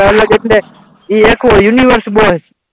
અલગ એટલે એ એકલો યુનિવર્સ બોય,